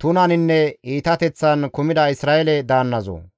tunaninne iitateththan kumida Isra7eele daannazoo,